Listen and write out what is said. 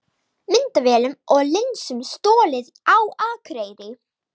Myndavélum og linsum stolið á Akureyri